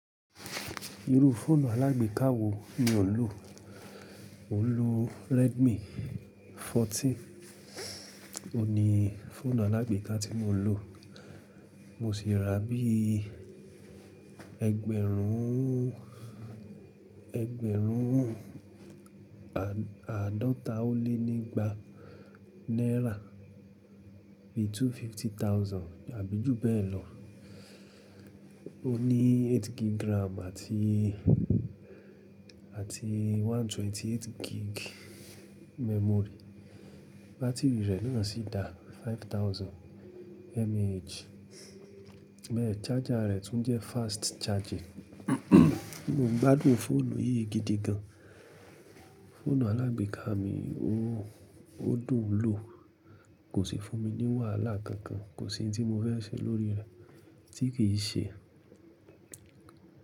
Irú fóònù alágbèéká wo ni ò n lò. Mo ń lò Redmi 14, òní fóònù alágbèéká tí mo ń lò. Mo sì rà á bí i ẹgbẹ̀rún, ẹgbẹ̀rún àádọ́ta ó lé nígba náírà, bí i two fifty thousand àbí jù bẹ́ẹ̀ lọ. Ó ní 8 gig RAM àti, àti 128 gig memory. Bátìrì rẹ̀ naa sí dá 5000 mAh, bẹ́ẹ̀ charger rẹ̀ tún jẹ́ fast charging. Mo gbádùn fóònù yìí gidi gan. Fóònù alágbèéká mi ò, ó dùn ún lò, kò sì fún mi ní wàhálà kankan, kò sì ohun tí mo fẹ́ ṣe lórí rẹ̀ tí kì í ṣe.